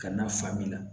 Ka na fa min la